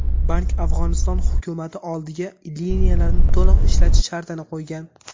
Bank Afg‘oniston hukumati oldiga liniyalarni to‘liq ishlatish shartini qo‘ygan.